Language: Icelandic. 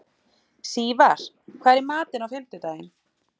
Sívar, hvað er í matinn á fimmtudaginn?